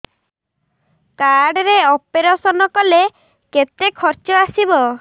card ରେ operation କଲେ କେତେ ଖର୍ଚ ଆସିବ